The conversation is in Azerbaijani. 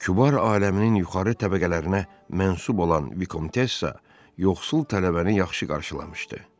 Kübar aləminin yuxarı təbəqələrinə mənsub olan Vikontessa yoxsul tələbəni yaxşı qarşılamışdı.